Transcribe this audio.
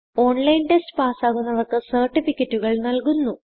online test പാസ്സാകുന്നവർക്ക് സർട്ടിഫികറ്റുകൾ നല്കുന്നു